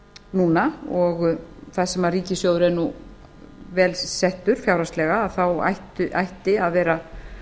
núna þar sem ríkissjóður er nú vel settur fjárhagslega ætti að vera